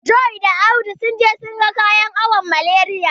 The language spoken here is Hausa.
John da Audu sun je su ga kayan awon Malariya.